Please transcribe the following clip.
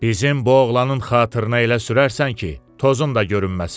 "Bizim bu oğlanın xatirinə elə sürərsən ki, tozun da görünməsin!"